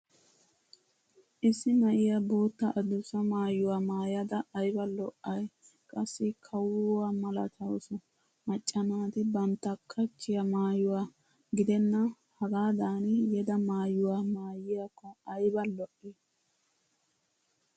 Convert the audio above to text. Issi na'iya bootta adussa maayuwaa maayada ayba lo'ay qassi kawuwaa malatawusu. Macca naati bantta qachchiya maayuwaa gidenna hagaadan yeda maayuwa maayiyaakko ayba lo'ii.